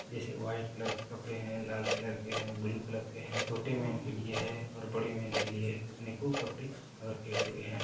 जैसे white colour के कपड़े हैं लाल कलर के हैं ब्लू कलर के हैं। छोटे मैन के लिए हैं और बड़े मैन के लिए हैं अनेकों कपड़े रखे हुए हैं।